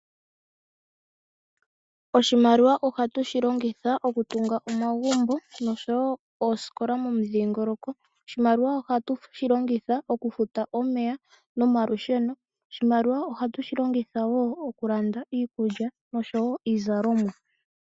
Oshimaliwa ohatu shi longitha oku tunga omagumbo noshowo oosikola momudhingoloko. Oshimaliwa ohatu shi longitha oku futa omeya nomalusheno. Oshimaliwa ohatu shi longitha wo oku landa iikulya noshowo iizalomwa.